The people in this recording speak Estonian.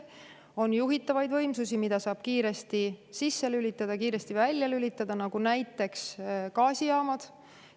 On juhitavaid võimsusi, mida saab kiiresti sisse ja välja lülitada, nagu gaasijaamad.